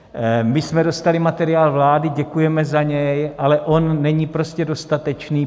My jsme dostali materiál vlády, děkujeme za něj, ale on není prostě dostatečný.